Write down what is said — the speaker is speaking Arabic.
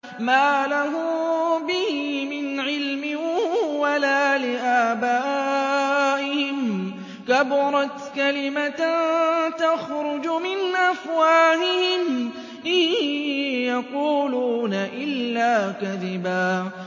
مَّا لَهُم بِهِ مِنْ عِلْمٍ وَلَا لِآبَائِهِمْ ۚ كَبُرَتْ كَلِمَةً تَخْرُجُ مِنْ أَفْوَاهِهِمْ ۚ إِن يَقُولُونَ إِلَّا كَذِبًا